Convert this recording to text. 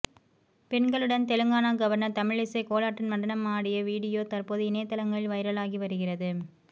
பெண்களுடன் தெலுங்கானா கவர்னர் தமிழிசை கோலாட்டம் நடனம் ஆடிய வீடியோ தற்போது இணையதளங்களில் வைரலாகி வருகிறது